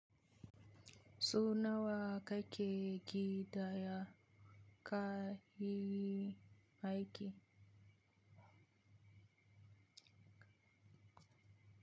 Su nawa ka ke ƙidaya ya ka yi haiki?